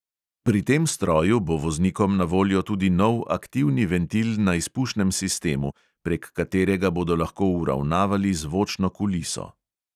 Pri tem stroju bo voznikom na voljo tudi nov aktivni ventil na izpušnem sistemu, prek katerega bodo lahko uravnavali zvočno kuliso.